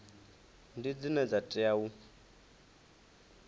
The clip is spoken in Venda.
ndi dzine dza tea u